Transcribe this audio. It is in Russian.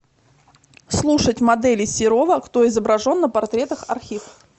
слушать моделей серова кто изображен на портретах архив